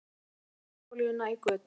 Missti smurolíuna í götuna